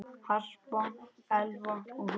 Harpa, Elfa og Hulda.